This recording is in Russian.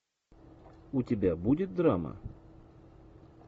у тебя будет драма